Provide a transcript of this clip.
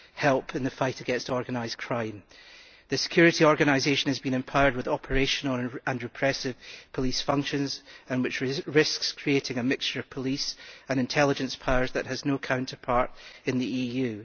help the fight against organised crime. The security organisation has been empowered with operational and repressive police functions, which risks creating a mixture of police and intelligence powers that has no counterpart in the EU.